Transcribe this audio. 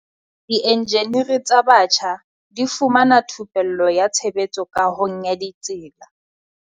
Dienjeniri tsa batjha di fumana thupello ya tshebetso kahong ya ditsela